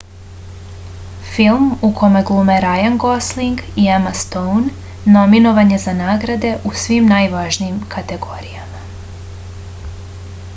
film u kome glume rajan gosling i ema stoun nominovan je za nagrade u svim najvažnijim kategorijama